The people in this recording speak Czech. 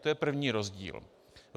To je první rozdíl.